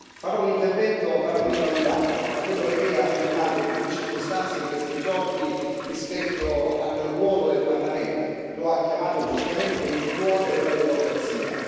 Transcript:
Farò un intervento partendo da un dato, da quello che Lei ha affermato, in più circostanze, in questi giorni, rispetto al ruolo del Parlamento lo ha chiamato giustamente il cuore della democrazia.